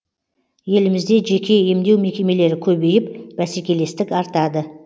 елімізде жеке емдеу мекемелері көбейіп бәсекелестік артады